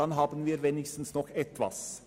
Dann haben wir wenigstens noch etwas.